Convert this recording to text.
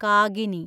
Kagini